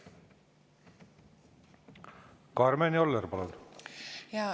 Karmen Joller, palun!